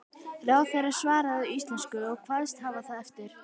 Ráðherrann svaraði á íslensku og kvaðst hafa það eftir